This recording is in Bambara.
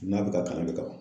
N'a bɛ ka kalan de